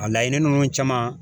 A laɲini ninnu caman.